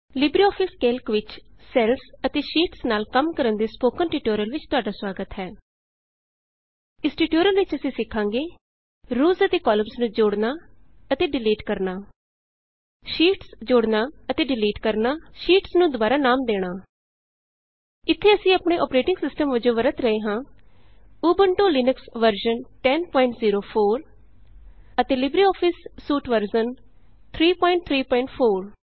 LibreOffice Calc ਵਿਚ cells ਅਤੇ sheets ਨਾਲ ਕੰਮ ਕਰਨ ਦੇ ਸਪੋਕਨ ਟਿਯੂਟੋਰਿਅਲ ਵਿਚ ਤੁਹਾਡਾ ਸੁਆਗਤ ਹੈ ਇਸ ਟਿਯੂਟੋਰਿਅਲ ਵਿਚ ਅਸੀਂ ਸਿਖਾਂਗੇ ਰੋਅਜ਼ ਅਤੇ ਕਾਲਮਸ ਨੂੰ ਜੋੜਨਾ ਅਤੇ ਡਿਲੀਟ ਕਰਨਾ ਸ਼ੀਟਸ ਜੋੜਨਾ ਅਤੇ ਡਿਲੀਟ ਕਰਨਾ ਸ਼ੀਟਸ ਨੂੰ ਦੁਬਾਰਾ ਨਾਮ ਦੇਣਾ ਇਥੇ ਅਸੀਂ ਆਪਣੇ ਅੋਪਰੇਟਿੰਗ ਸਿਸਟਮ ਵਜੋਂ ਵਰਤ ਰਹੇ ਹਾਂ ਉਬੰਤੂ ਲੀਨਕਸ ਵਰਜ਼ਨ 1004 ਅਤੇ ਲਿਬਰੇਆਫਿਸ ਸੂਟ ਵਰਜ਼ਨ 334